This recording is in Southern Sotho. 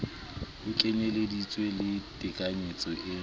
ho kenyeleditse le tekanyetso e